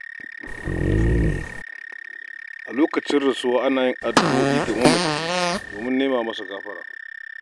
A lokacin rasuwa, ana yin addu'o'i ga mamaci don nema masa gafara.